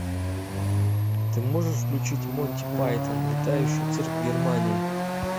ты можешь включить монти пайтон летающий цирк в германии